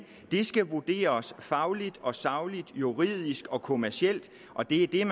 det skal vurderes fagligt og sagligt juridisk og kommercielt og det er